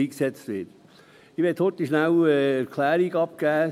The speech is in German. Ich möchte kurz eine Erklärung abgeben: